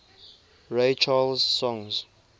ray charles songs